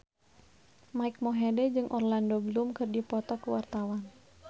Mike Mohede jeung Orlando Bloom keur dipoto ku wartawan